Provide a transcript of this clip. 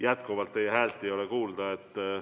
Jätkuvalt ei ole teie häält kuulda.